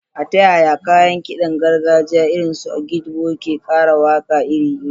Ta yaya kayan kidan gargajiya irin su agidigbo ke kara waka iri-iri?